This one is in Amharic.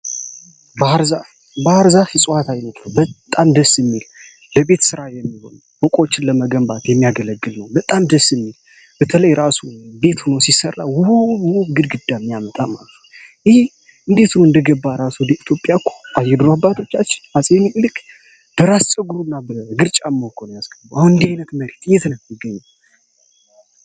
በአርዛፍ ፅዋት ዓይኖትሎ በጣን ደስ ሚል ለቤት ሥራ የሚሆኑ ወቆችን ለመገንባት የሚያገለግል ነው በጣን ደስ ሚል በተለይ እራሱ ቤት ሆኖ ሲሠራ ውብ ውብ ግድ ግዳ ሚያመጣም አልፉ ይህ እንዴቱን እንደገባ ራሱ ወደ ኢትዮጵያ ኩ አየድሮባቶቻች አጽሚ ቁልክ ደራስሰግሩ እና በግርጫ ሞኮን ያስገበው እንዲዓይነት መሬት እየትነምገኙ::